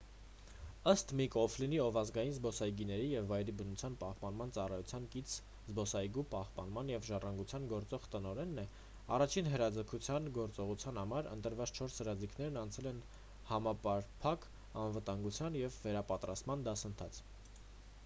ըստ միք օ'ֆլինի ով ազգային զբոսայգիների և վայրի բնության պահպանման ծառայության կից զբոսայգու պահպանման և ժառանգության գործող տնօրենն է առաջին հրաձգության գործողության համար ընտրված չորս հրաձիգները անցել են համապարփակ անվտանգության և վերապատրաստման դասընթաց